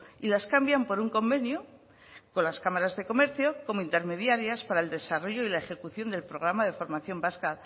y las cambian por un convenio con las cámaras de comercio como intermediarias para el desarrollo y la ejecución del programa de formación vasca